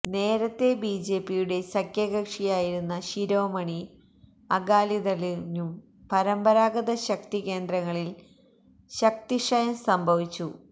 നേരത്തേ ബി ജെ പിയുടെ സഖ്യകക്ഷിയായിരുന്ന ശിരോമണി അകാലിദളിനും പരമ്പരാഗത ശക്തികേന്ദ്രങ്ങളില് ശക്തിക്ഷയം സംഭവിച്ചു